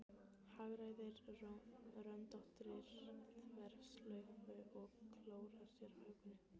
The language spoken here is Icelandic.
Hagræðir röndóttri þverslaufu og klórar sér á hökunni.